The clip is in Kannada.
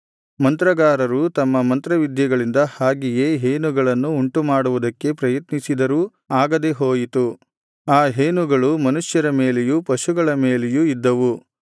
ಮಂತ್ರಗಾರರು ತಮ್ಮ ಮಂತ್ರವಿದ್ಯೆಗಳಿಂದ ಹಾಗೆಯೇ ಹೇನುಗಳನ್ನು ಉಂಟುಮಾಡುವುದಕ್ಕೆ ಪ್ರಯತ್ನಿಸಿದರೂ ಆಗದೆ ಹೋಯಿತು ಆ ಹೇನುಗಳು ಮನುಷ್ಯರ ಮೇಲೆಯೂ ಪಶುಗಳ ಮೇಲೆಯೂ ಇದ್ದವು